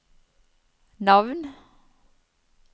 navn